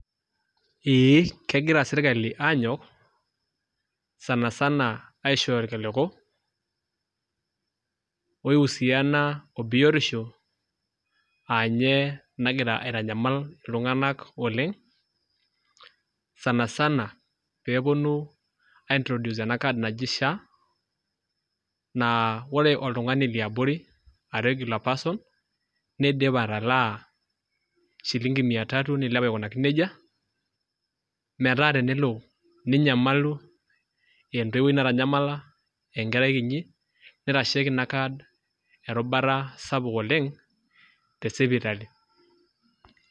Eee kagira sirkali sanisana aanyok aishooyo irkiliku oipirta biotisho aa ninye nagira aitanyamal iltunganak oleng sanisana pee eponu aintroduce ena kadi naji SHA naa ore oltungani leabori a regular person neidim atalaa shilinki mia tatu neilep aikunaki nejia. Metaa tenelo ninyamalu aa entoiwuoi, aa enkerai kinyi, neitasheki inakadi erubata sapuk oleng tesipitali